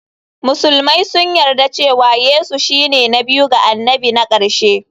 Musulmai sun yarda cewa Yesu shine na biyu ga annabi na ƙarshe.